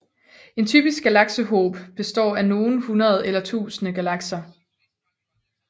En typisk galaksehob består af nogle hundrede eller tusinde galakser